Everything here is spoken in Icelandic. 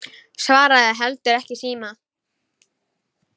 Svaraði heldur ekki í síma.